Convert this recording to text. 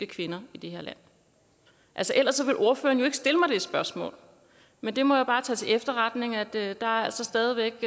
kvinder i det her land altså ellers ville ordføreren jo ikke stille mig det spørgsmål men jeg må bare tage til efterretning at at der altså stadig væk